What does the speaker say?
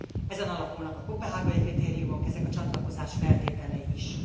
Ezen alapulnak a koppenhágai kritériumok, ezek a csatlakozás feltételei is.